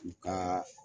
U ka